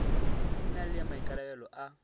e na le maikarabelo a